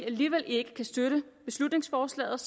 alligevel ikke kan støtte beslutningsforslaget